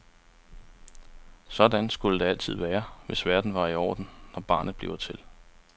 Sådan skulle der altid være, hvis verden var i orden, når barnet bliver til.